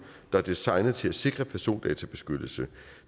der er designet til at sikre persondatabeskyttelsen